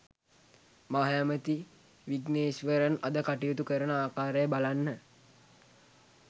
මහ ඇමති විග්නේෂ්වරන් අද කටයුතු කරන ආකාරය බලන්න